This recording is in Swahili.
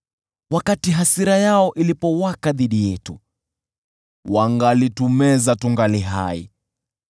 wakati hasira yao ilipowaka dhidi yetu, wangalitumeza tungali hai,